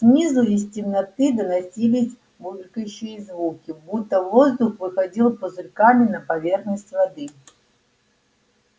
снизу из темноты доносились булькающие звуки будто воздух выходил пузырьками на поверхность воды